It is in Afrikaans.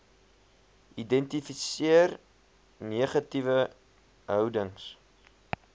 identifiseer negatiewe houdings